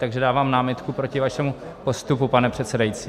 Takže dávám námitku proti vašemu postupu, pane předsedající.